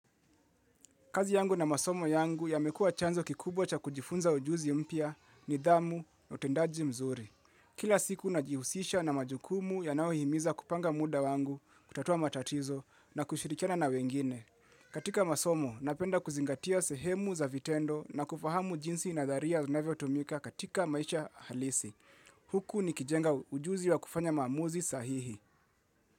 Kazi yangu na masomo yangu yamekua chanzo kikubwa cha kujifunza ujuzi mpya nidhamu, utendaji mzuri. Kila siku najihusisha na majukumu yanayohimiza kupanga muda wangu kutatua matatizo na kushirikiana na wengine. Katika masomo napenda kuzingatia sehemu za vitendo na kufahamu jinsi nadharia zinavyotumika katika maisha halisi. Huku nikijenga ujuzi wa kufanya maamuzi sahihi.